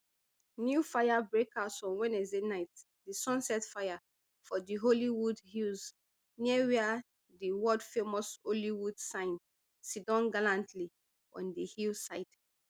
new fire break out on wednesday night di sunset fire for di hollywood hills near wia di worldfamous hollywood sign sidon gallantly on di hillside